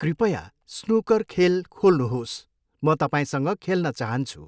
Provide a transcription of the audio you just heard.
कृपया स्नुकर खेल खोल्नुहोस्, म तपाईँसँग खेल्न चाहन्छु।